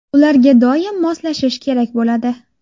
Ularga doim moslashish kerak bo‘ladi.